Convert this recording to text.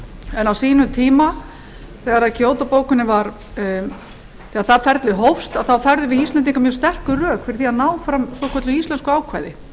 en á sínum tíma þegar þar ferli hófst að þá færðum við íslendingar mjög sterk rök fyrir því að ná fram svokölluðu íslensku ákvæði